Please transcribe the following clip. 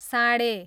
साँढे